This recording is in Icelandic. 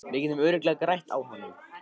Við getum örugglega grætt á honum.